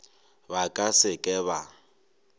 ba ka se ke ba